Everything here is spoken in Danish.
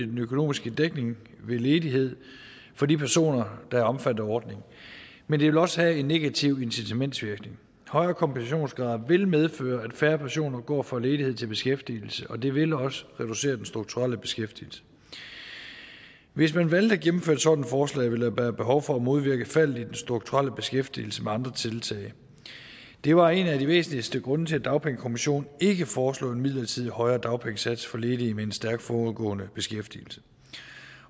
den økonomiske dækning ved ledighed for de personer der er omfattet af ordningen men det vil også have en negativ incitamentsvirkning højere kompensationsgrad vil medføre at færre personer går fra ledighed til beskæftigelse og det vil også reducere den strukturelle beskæftigelse hvis man valgte at gennemføre et sådant forslag ville der være behov for at modvirke et fald i den strukturelle beskæftigelse med andre tiltag det var en af de væsentligste grunde til at dagpengekommissionen ikke foreslog en midlertidig højere dagpengesats for ledige med en stærk forudgående beskæftigelse